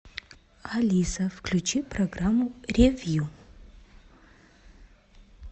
алиса включи программу ревью